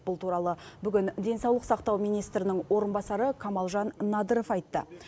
бұл туралы бүгін денсаулық сақтау министрінің орынбасары камалжан надыров айтты